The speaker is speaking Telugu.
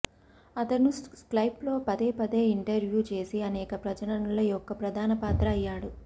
అతను స్కైప్లో పదే పదే ఇంటర్వ్యూ చేసి అనేక ప్రచురణల యొక్క ప్రధాన పాత్ర అయ్యాడు